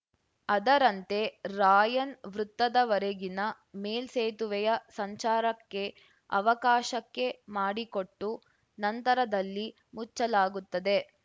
ಅದರಂತೆ ರಾಯನ್‌ ವೃತ್ತದವರೆಗಿನ ಮೇಲ್ಸೇತುವೆಯ ಸಂಚಾರಕ್ಕೆ ಅವಕಾಶಕ್ಕೆ ಮಾಡಿಕೊಟ್ಟು ನಂತರದಲ್ಲಿ ಮುಚ್ಚಲಾಗುತ್ತದೆ